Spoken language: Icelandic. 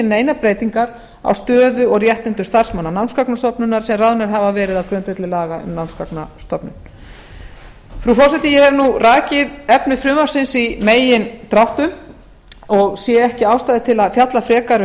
neinar breytingar á stöðu og réttindum starfsmanna námsgagnastofnunar sem ráðnir hafa verið á grundvelli laga um námsgagnastofnun frú forseti ég hef nú rakið efni frumvarpsins í megindráttum og sé ekki ástæðu til að fjalla frekar um